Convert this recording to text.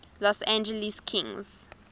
los angeles kings